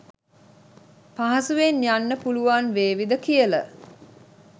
පහසුවෙන් යන්න පුළුවන් වේවිද කියල.